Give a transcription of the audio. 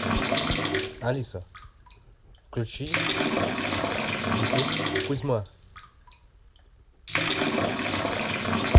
алиса включи ютуб кузьма